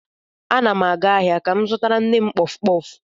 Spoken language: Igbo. Ana m aga ahịa ka m zụtara nne m kpọf kpọf.